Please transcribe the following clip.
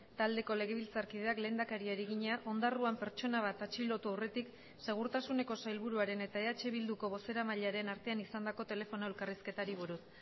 taldeko legebiltzarkideak lehendakariari egina ondarroan pertsona bat atxilotu aurretik segurtasuneko sailburuaren eta eh bilduko bozeramailearen artean izandako telefono elkarrizketari buruz